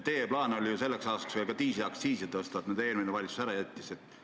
Teie plaan selleks aastaks oli ka diislikütuse aktsiisi tõsta, eelmine valitsus jättis selle ära.